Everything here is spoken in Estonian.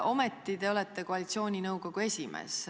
Ometi te olete koalitsiooninõukogu esimees.